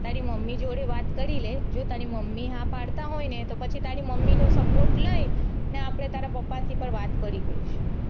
તારી મમ્મી જોડે વાત કરી લે જો તારી મમ્મી હા પડતા હોય ને તો પછી તારી મમ્મી નો support લઇ ને આપડે તારા પપ્પા થી પણ વાત કરી લઈશુ.